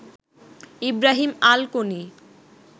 Ibrahim Al Koni